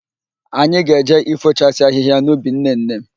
Ạnyị ga-eje ifochasi ahịhịa n'ubi nnenne m.